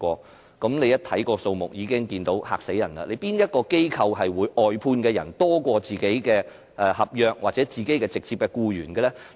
大家看到這個數目已感驚人，有哪個機構的外判員工會較本身的合約僱員或直接僱員多呢？